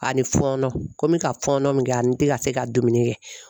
A ni fɔɔnɔ ko mi ka fɔɔnɔ min kɛ ani te ka se ka dumuni kɛ.